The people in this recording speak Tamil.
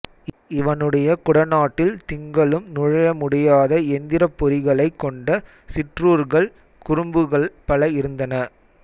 இவனுடைய குடநாட்டில் திங்களும் நுழைய முடியாத எந்திரப்பொறிகளைக் கொண்ட சிற்றூர்கள் குறும்புகள் பல இருந்தன